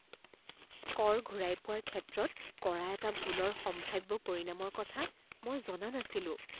কৰ ঘূৰাই পোৱাৰ ক্ষেত্ৰত কৰা এটা ভুলৰ সম্ভাব্য পৰিণামৰ কথা মই জনা নাছিলোঁ।